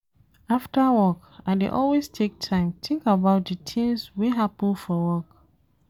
After work, I dey always take time tink about di tins wey happen for work.